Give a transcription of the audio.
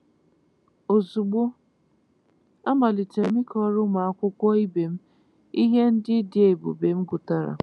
Ozugbo, a malitere m ịkọrọ ụmụ akwụkwọ ibe m ihe ndị dị ebube m gụtara.